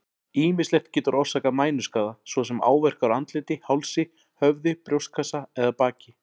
Ýmislegt getur orsakað mænuskaða, svo sem áverkar á andliti, hálsi, höfði, brjóstkassa eða baki.